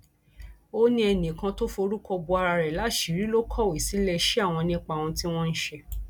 ó ní ẹnìkan tó forúkọ bo ara rẹ láṣìírí ló kọwé síléeṣẹ àwọn nípa ohun tí wọn ń ṣe